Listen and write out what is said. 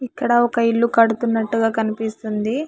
ఇక్కడ ఒక ఇల్లు కడుతున్నట్టుగా కనిపిస్తుంది.